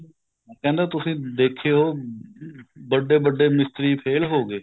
ਕਹਿੰਦਾ ਤੁਸੀਂ ਦੇਖਿਓ ਵੱਡੇ ਵੱਡੇ ਮਿਸਤਰੀ ਫ਼ੇਲ ਹੋ ਗਏ